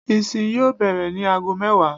Ìsin yóò bẹ̀rẹ̀ ní ago mẹ́wàá